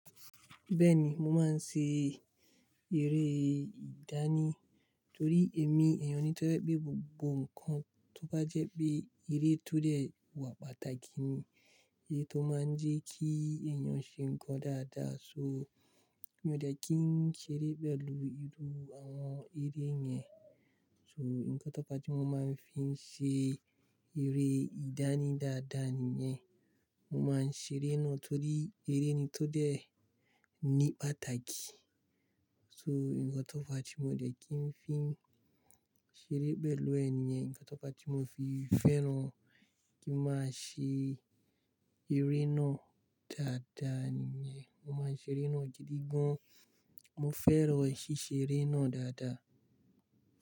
Bẹ́ẹ̀ni, mo máa ń ṣe eré ìdáni torí èmi èèyàn ni tó fẹ́ gbé gbogbo nǹkan tó bá jẹ́ pé eré tó dẹ̀ wà pàtàkì ni, èyí tó máa ń jẹ́ kí èèyàn ṣe nǹkan dáadáa. So, mi ò dẹ́ kí n ṣeré pẹ̀lú irú àwọn eré yẹn. So, nǹkan tó fa ti mo máa ń fi ṣe eré ìdáni dáadáa nìyẹn. Mo máa ń ṣeré náà torí eré ni tó dẹ̀ ní pàtàkì. So, nǹkan tó fa ti mo dẹ́ kí n fi ṣeré pẹ̀lú ẹ̀ nìyẹn. Ǹkan tó fa ti mo fi fẹ́ràn kí a máa ṣe eré náà dáadáa nìyẹn. Mo máa ń ṣe eré náà gidi gan. Mo fẹ́ràn ṣíṣe eré náà dáadáa.